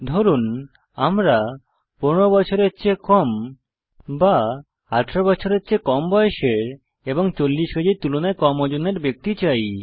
ধরুন আমরা 15 বছরের চেয়ে কম বা 18 বছরের চেয়ে কম বয়সের এবং 40 কেজির তুলনায় কম ওজনের ব্যক্তি চাই